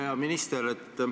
Hea minister!